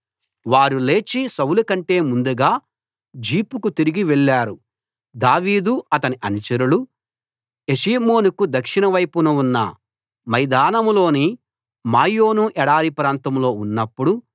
వారు లేచి సౌలు కంటే ముందుగా జీఫుకు తిరిగి వెళ్లారు దావీదు అతని అనుచరులూ యెషీమోనుకు దక్షిణ వైపున ఉన్న మైదానంలోని మాయోను ఎడారి ప్రాంతంలో ఉన్నప్పుడు